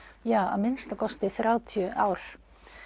að minnsta kosti þrjátíu ár